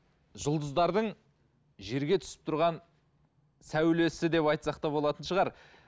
жұлдыздардың жерге түсіп тұрған сәулесі деп айтсақ та болатын шығар